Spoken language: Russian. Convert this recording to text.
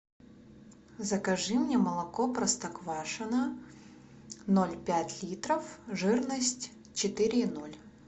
закажи мне молоко простоквашино ноль пять литров жирность четыре и ноль